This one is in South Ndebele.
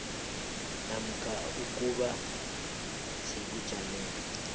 namkha ukuba sebujameni